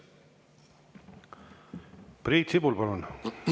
Priit Sibul, palun!